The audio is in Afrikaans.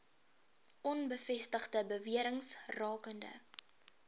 onbevestigde bewerings rakende